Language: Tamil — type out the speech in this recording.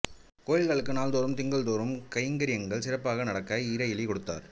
கோவில்களுக்கு நாள்தோறும் திங்கள்தோறும் கைங்கரியங்கள் சிறப்பாக நடக்க இறையிலி கொடுத்தார்